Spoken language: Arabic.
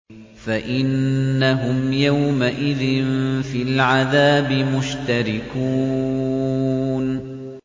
فَإِنَّهُمْ يَوْمَئِذٍ فِي الْعَذَابِ مُشْتَرِكُونَ